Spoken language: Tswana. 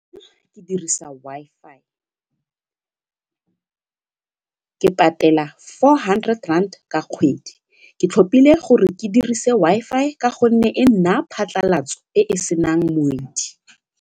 Ke dirisa Wi-Fi ke patela four hundred rand ka kgwedi ke tlhopile gore ke dirise Wi-Fi ka gonne e nnaya phatlalatso e e senang moedi.